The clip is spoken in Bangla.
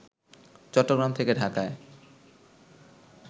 চট্টগ্রাম থেকে ঢাকায়